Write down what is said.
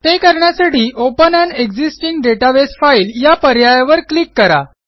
ते करण्यासाठी open an existing database file या पर्यायावर क्लिक करा